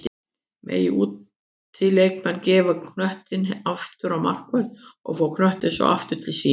Mega útileikmenn gefa knöttinn aftur á markvörð og fá knöttinn svo aftur til sín?